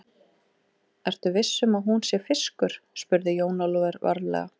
Ertu viss um að hún sé fiskur, spurði Jón Ólafur varlega.